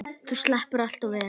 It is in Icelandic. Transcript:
Þú sleppur allt of vel.